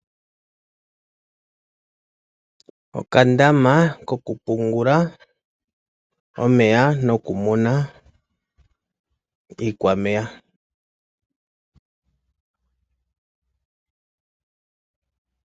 Okandama kokupungula omeya nokumuna iikwameya.